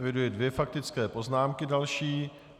Eviduji dvě faktické poznámky další.